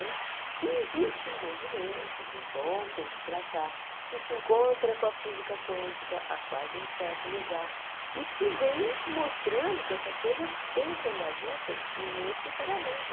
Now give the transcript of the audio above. Né e existe um movimento de um bom tempo para cá que se encontra com a física quântica há quase um século já e que vem mostrando que essas coisas têm que andar juntas necessariamente.